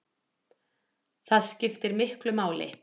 Það skiptir miklu máli